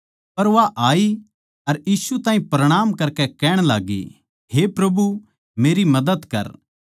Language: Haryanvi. पर वा आई अर यीशु ताहीं प्रणाम करकै कहण लाग्गी हे प्रभु मेरी मदद कर